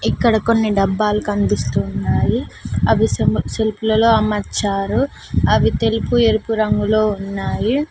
ఇక్కడ కొన్ని డబ్బాలు కనిపిస్తున్నాయి అవి సెమీ సెల్ఫ్ లలో అమర్చారు అవి తెలుపు ఎరుపు రంగులో ఉన్నాయి.